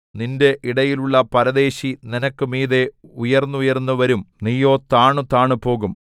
നിന്റെ ഇടയിലുള്ള പരദേശി നിനക്ക് മീതെ ഉയർന്നുയർന്നു വരും നീയോ താണുതാണുപോകും